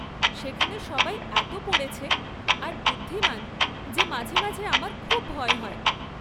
সেখানে সবাই এত পড়েছে, আর বুদ্ধিমান যে মাঝে মাঝে আমার খুব ভয় হয়।